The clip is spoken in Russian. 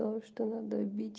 то что надо бить